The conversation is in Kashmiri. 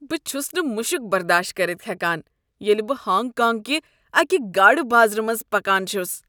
بہٕ چُھس نہٕ مُشُک برداشت کٔرتھ ہیکان ییٚلہ بہٕ ہانگ کانگ کہِ اکِہ گاڈٕ بازرٕ منٛزِ پکان چھس۔